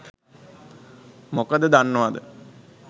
මොකද දන්නවද